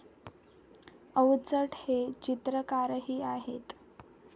अवचट हे चित्रकारही आहेत.